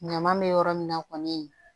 Ɲama bɛ yɔrɔ min na kɔni